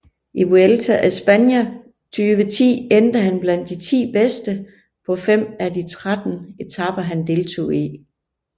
I Vuelta a España 2010 endte han blandt de ti bedste på fem af de 13 etaper han deltog i